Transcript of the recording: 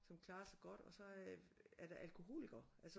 Som klarer sig godt og så er der alkoholikere